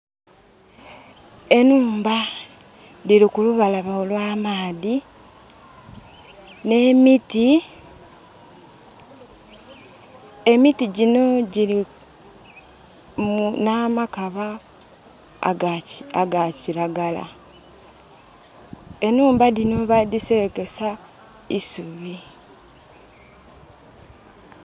Enhumba dhiri ku lubalama olwa maadhi ne miti. Emiti gino gilina amakaba aga kilagala. Enhumba dhino badhiserekesa isubi.